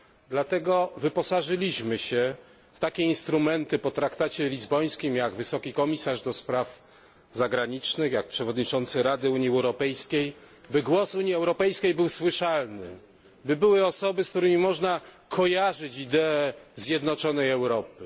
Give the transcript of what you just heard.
Dlatego wyposażyliśmy się w takie instrumenty po traktacie lizbońskim jak wysoki przedstawiciel do spraw zagranicznych, jak przewodniczący Rady Unii Europejskiej, by głos Unii Europejskiej był słyszalny, by były osoby, z którymi można kojarzyć ideę zjednoczonej Europy.